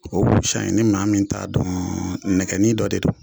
O k'o busan in fisa ni maa min t'a dɔɔn nɛgɛnin dɔ de don